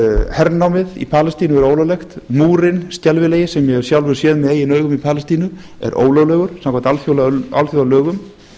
hernámið í palestínu er ólöglegt múrinn skelfilega sem ég hef sjálfur séð með eigin augum í palestínu er ólöglegur samkvæmt alþjóðalögum